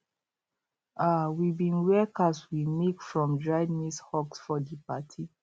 um we bin wear caps we make from dried maize husks for di party